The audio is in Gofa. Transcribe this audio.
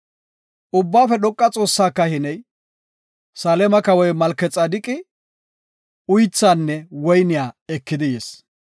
Ubbaafe Dhoqa Xoossaa kahiney, Saleema kawoy Malkexaadeqi uythinne woyne ekidi yis.